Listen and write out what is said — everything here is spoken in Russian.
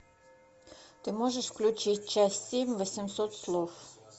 ты можешь включить часть семь восемьсот слов